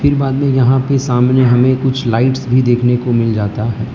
फिर बाद में यहां पे सामने हमे कुछ लाइट्स भी देखने को मिल जाता है।